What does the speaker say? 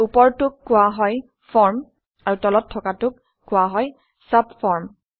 ওপৰটোক কোৱা হয় ফৰ্ম আৰু তলত থকাটোক কোৱা হয় চাবফৰ্ম